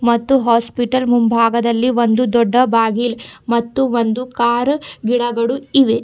ಮತ್ತು ಹಾಸ್ಪಿಟಲ್ ಮುಂಭಾಗದಲ್ಲಿ ಒಂದು ದೊಡ್ಡ ಬಾಗಿಲ್ ಮತ್ತು ಒಂದು ಕಾರ್ ಗಿಡಗಳು ಇವೆ.